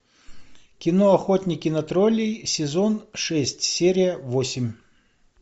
кино охотники на троллей сезон шесть серия восемь